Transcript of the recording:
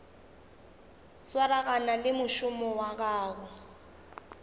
swaragane le mošomo wa go